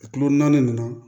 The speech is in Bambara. Kilo naani nin na